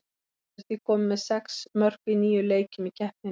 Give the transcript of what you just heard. Hann er því kominn með sex mörk í níu leikjum í keppninni.